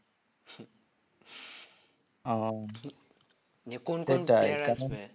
ও